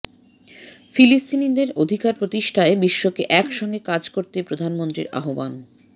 ফিলিস্তিনিদের অধিকার প্রতিষ্ঠায় বিশ্বকে এক সঙ্গে কাজ করতে প্রধানমন্ত্রীর আহ্বান